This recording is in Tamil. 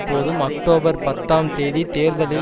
போதும் அக்டோபர் பத்துஆம் தேதி தேர்தலில்